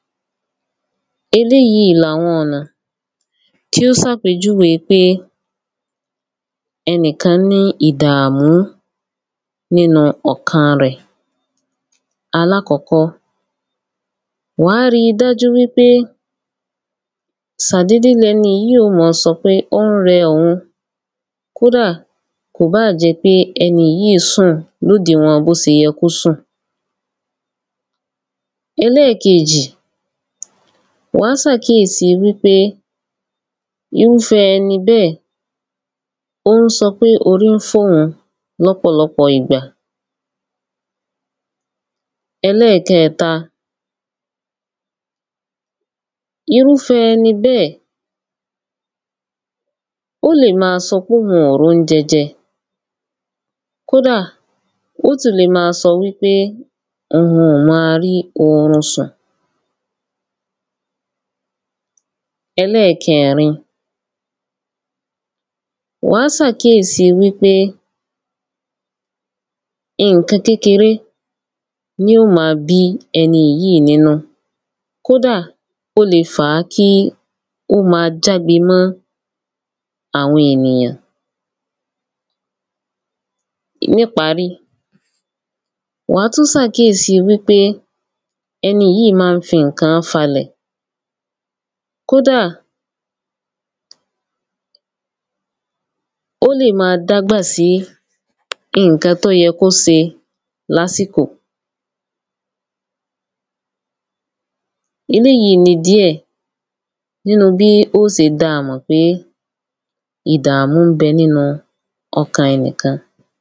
eléyíi ni àwọn ọ̀nà tí ó sàpèjúwe pé ẹnìkán ní ìdàmú nínu ọ̀kan rẹ̀. alákọ́kọ́, wàá ri dájú wípé sàdédé lẹniyíì í ó mọ sọ pé ó rẹ òun. kódà, kò báà jẹ́ pé ẹnìyíì í sùn lódinwọn bóṣe yẹ kó sùn. ẹlẹ́keèjì, wàá sàkíyèsi wípé irúfẹ́ ẹni bẹ́ẹ̀ ón sọ pé orí ń fọ́ òun lọ́pọ̀lọpọ̀ ìgbà. ẹlẹ́kẹẹ̀ta, irúfẹ́ ẹni bẹ́ẹ̀ ó lè ma sọ pé òun ò róúnjẹ jẹ, kódà, ó ti lè ma sọ wípé òun ò ma rí orun sùn. ẹlẹ́kẹẹ̀rin, wàá sàkíyèsí wípé ǹkan kékeré ni yíò ma bí ẹniyíì í nínú. kódà ó le fàá kí ó ma jágbe mọ́ àwọn ènìyàn. níparí, wàá tún sàkíyèsi wípé ẹniyíi í ma ń fi ǹkán fálẹ̀. kódà, ó lè ma dágbà sí ǹkan tó yẹ kó se láàkò. eléyíi ni díẹ̀ nínu bí ó se dáamọ̀ pé ìdàmú ńbẹ nínu ọkàn ẹnìkan.